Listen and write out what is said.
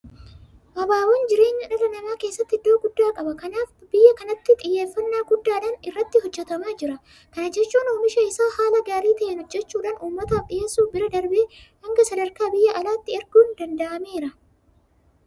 Abaaboon jireenya dhala namaa keessatti iddoo guddaa qaba. Kanaaf akka biyya kanaatti xiyyeeffannaa guddaadhaan irratti hojjetamaa jira. Kana jechuun oomisha isaa haala gaarii ta'een hojjechuudhaan uummataaf dhiyeessuu bira darbee hanga sadarkaa biyya alaatti erguun danda'ameera.